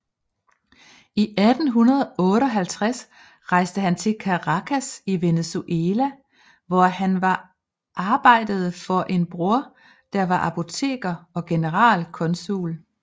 I 1858 rejste han til Caracas i Venezuela hvor han var arbejdede for en bror der var apoteker og generalkonsul